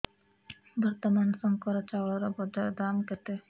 ବର୍ତ୍ତମାନ ଶଙ୍କର ଚାଉଳର ବଜାର ଦାମ୍ କେତେ